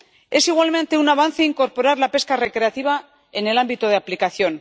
Es igualmente un avance incorporar la pesca recreativa al ámbito de aplicación.